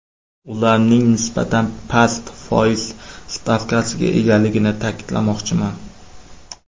Ularning nisbatan past foiz stavkasiga egaligini ta’kidlamoqchiman.